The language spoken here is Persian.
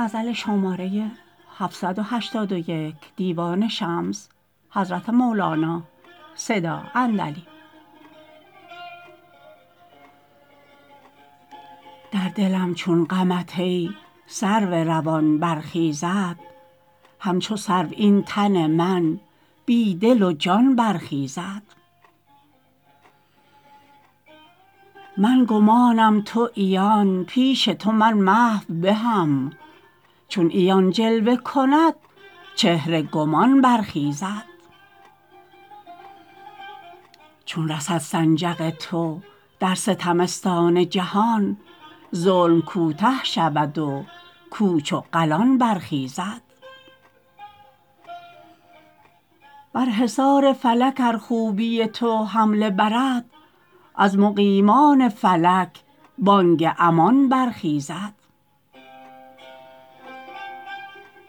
در دلم چون غمت ای سرو روان برخیزد همچو سرو این تن من بی دل و جان برخیزد من گمانم تو عیان پیش تو من محو به هم چون عیان جلوه کند چهره گمان برخیزد چون رسد سنجق تو در ستمستان جهان ظلم کوته شود و کوچ و قلان برخیزد بر حصار فلک ار خوبی تو حمله برد از مقیمان فلک بانگ امان برخیزد